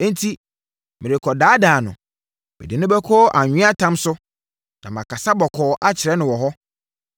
“Enti merekɔdaadaa no; mede no bɛkɔ anweatam so na makasa bɔkɔɔ akyerɛ no wɔ hɔ.